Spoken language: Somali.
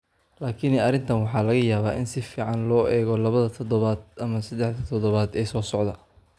Laakiin arrintan waxaa laga yaabaa in si fiican loo eego labada toddobaad ama saddexda toddobaad ee soo socda.